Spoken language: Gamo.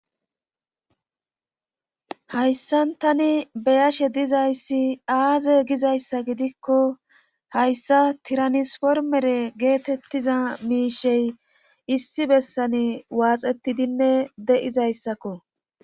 hayssan tani be'ashe dizayssi aaze gizayssa gidikko hayssa tiranispormere geetettiza miishey issi bessani waaxetidinne de'izayssakko